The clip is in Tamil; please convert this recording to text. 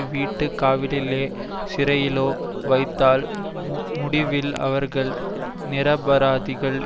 வீட்டு காவலிலோ சிறையிலோ வைத்தால் முடிவில் அவர்கள் நிரபராதிகள்